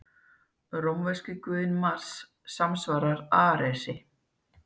Rómverski guðinn Mars samsvaraði Aresi.